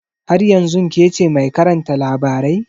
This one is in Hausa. Har yanzun kece mai karanta labarai?